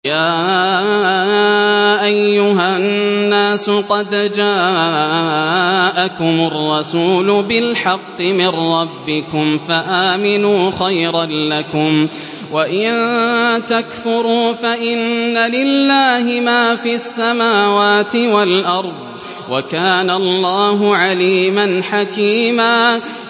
يَا أَيُّهَا النَّاسُ قَدْ جَاءَكُمُ الرَّسُولُ بِالْحَقِّ مِن رَّبِّكُمْ فَآمِنُوا خَيْرًا لَّكُمْ ۚ وَإِن تَكْفُرُوا فَإِنَّ لِلَّهِ مَا فِي السَّمَاوَاتِ وَالْأَرْضِ ۚ وَكَانَ اللَّهُ عَلِيمًا حَكِيمًا